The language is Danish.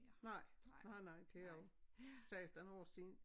Nej. Nej nej det er jo 16 år siden